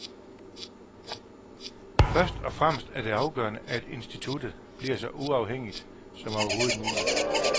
Først og fremmest er det afgørende, at instituttet bliver så uafhængigt som overhovedet muligt.